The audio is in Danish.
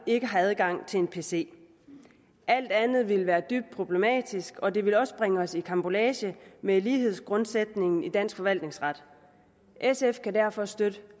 ikke har adgang til en pc alt andet ville være dybt problematisk og det ville også bringe os i karambolage med lighedsgrundsætningen i dansk forvaltningsret sf kan derfor støtte